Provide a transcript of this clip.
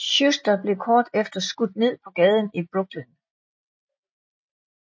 Schuster blev kort efter skudt ned på gaden i Brooklyn